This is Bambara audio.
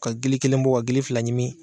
Ka gili kelen bɔ ka gili fila ɲimi.